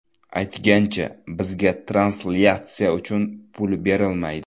Aytgancha, bizga translyatsiya uchun pul berilmaydi.